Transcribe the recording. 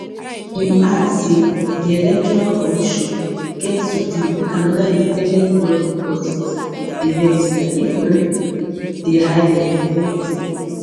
im add say di electoral commission get to gree make anoda independent body audit di register if dey no um dey hide um anything